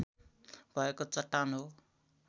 भएको चट्टान हो।